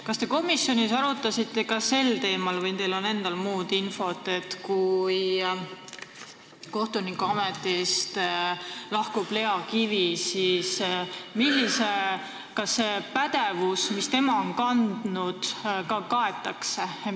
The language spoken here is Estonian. Kas te komisjonis arutasite ka sel teemal või on teil endal infot, et kui Lea Kivi kohtunikuametist lahkub, siis kas seda pädevust, mis temal on olnud, ka edaspidi kaetakse?